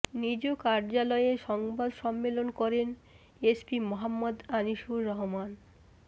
নিজ কার্যালয়ে সংবাদ সম্মেলন করেন এসপি মোহাম্মদ আনিসুর রহমান